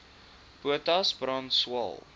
potas brand swael